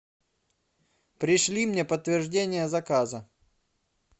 пришли мне подтверждение заказа